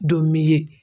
Don min ye